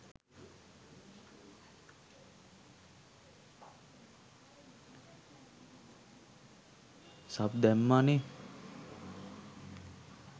Sub දැම්මානෙ.